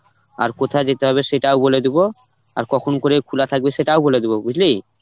আর কোথায় যেতে হবে সেটাও বলে দিবো আর কখন করে খোলা থাকবে সেটাও বলে দিব বুঝলি.